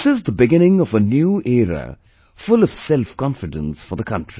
This is the beginning of a new era full of selfconfidence for the country